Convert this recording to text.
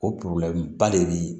O ba le bɛ